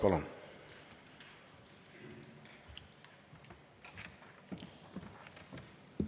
Palun!